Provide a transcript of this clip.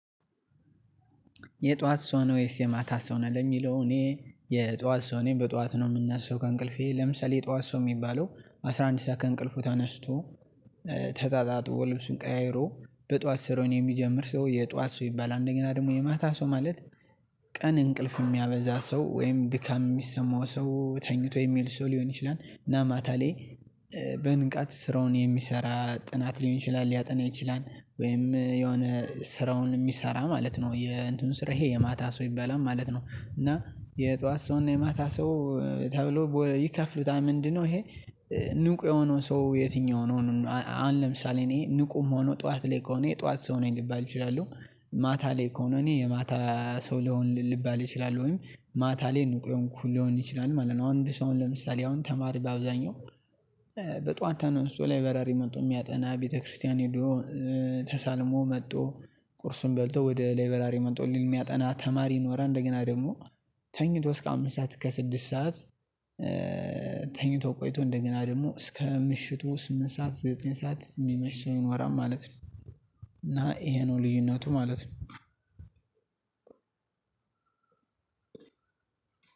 የጧት ሰው ነው ወይስ የማታ ሰው ነህ? ለሚለው እኔ የጧት ሰው ነኝ፤ በጧት ነው የምናሰው ከእንቅልፌ። ለምሳሌ ጠዋት ሰው የሚባለው አስራ አንድ ሰዓት ከእንቅልፉ ታነስቶ፤ ተጣጥቦ ብሱን ቀያይሮ በጧት ስሩውን የሚጀምር ሰው የጧት ሰው ይባላል። አንደኛ ደግሞ የማታ ሰው ማለት ቀን እንቅልፍ የሚያበዛ ሰው ወይም ድካም የሚሰማው ሰው ተኝቶ የሚል ሰው ሊሆን ይችላል። እና ማታሌ በንቃት ስራውን የሚሰራ ጥናት ሊሆን ይችላል፤ ሊያጠና ይችላል፤ ወይም የሆነ ስራውን የሚሰራ ማለት ነው፤ የእንትኑ ስራ ይሄ የማታ ሰው ይበላል ማለት ነው። እና የጧት ሰው እና የማታ ሰው ተብሎ ይከፍሉታል ምንድነው? ይሄ ንቁ የሆነው ሰው የትኛው ነው አን ለምሳሌ እኔ ንቁም ሆኖ ጠዋት ላይ የጠዋት ሰው ሊባል ይችላለው። ማታ ላይ ከሆነ እኔ የማታ ሰው ሊባል ይችላለውኝ። ወይም ማታ ላይ ንቁ የሆንኩ ልሆን ይችላል ማለት ነው። አንድ ሰው ለምሳሌ አሁን ተማሪ በአብዛኛው በጧን ተነስቶ ላይ ላይበራሪ መጥቶ የሚያጠና፤ ቤተክርስቲያን ሄዶ፤ ተሳልሞ መጥቶ፤ ቁርሱን በልቶ፤ ወደ ላይበራሪ መጥቶ፤ የሚያጠና ተማሪ ይኖራል። እንደገና ደግሞ ተኝቶ እስከ አምስት ሰዓት ከስድስት ሰዓት ተኝቶ ቆይቶ እንደገና ደግሞ እስከ ምሽቱ ስምንት ሰዓት፤ ዘጠኝ ሰዓት፤ የሚያመሽ ሰው ይኖራል ማለት ነው። እና ይሄ ነው ልዩነቱ ማለት ነው